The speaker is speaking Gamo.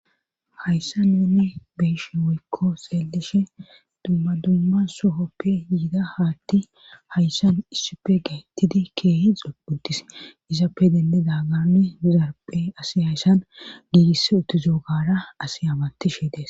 hayssa nuni beyshi woykko xeelishe dumma dumma sohoppe yida haatti hayssan issipe gaettidi keehe xoputis izappe dendeda gananne zarphe asi hayssan giigiss uttuzoogara asi amatishe des